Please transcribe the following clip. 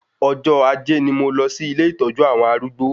Ọjọ́ ajé ni mo lọ sí ilé ìtọ́jú àwọn arúgbó